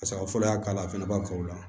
Saga fɔlɔ y'a k'a la fɛnɛ ba fɔ o la